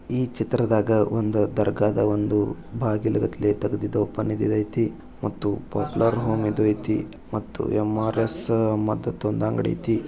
ಈ ಚಿತ್ರದಾಗ ಒಂದು ದರ್ಗಾದ ಒಂದು ಬಾಗಿಲು ತೆಗೆದಿದ್ದು ಓಪನ್ ಇದ್ದಿದ್ದು ಅಯ್ತಿ ಮತ್ತು ಬಟ್ಲರ್ ಹೋಂ ಇದು ಅಯ್ತಿ ಮತ್ತು ಎಂ_ಆರ್ಎ_ಸ್ ಮತ್ತೊ ಒಂದು ಅಂಗಡಿ ಅಯ್ತಿ.